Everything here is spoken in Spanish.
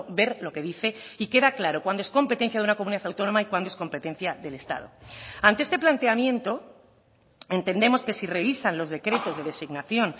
ver lo que dice y queda claro cuándo es competencia de una comunidad autónoma y cuándo es competencia del estado ante este planteamiento entendemos que si revisan los decretos de designación